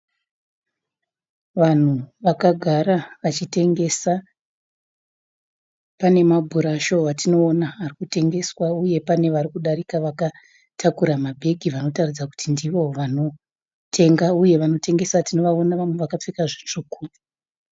Vanhu vakagara vachitengesa pane mabhurasho atinoona ari kutengeswa uye pane vari varikudarika vakatakura mabhegi vanotaridza kuti ndivo vanotenga uye vanotengesa tinovaona vamwe vakapfeka zvitsvuku.